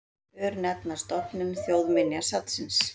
Örnefnastofnun Þjóðminjasafns.